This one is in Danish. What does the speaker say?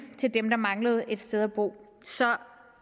til dem der manglede et sted at bo så